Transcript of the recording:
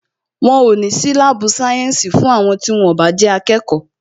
Wọn o ní sí láàbù sayensi fún àwọn tí wón o bá jẹ́ akẹ́kọ̀ọ́